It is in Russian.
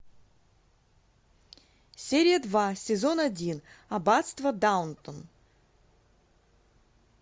серия два сезон один аббатство даунтон